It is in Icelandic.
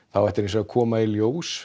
það ætti að koma í ljós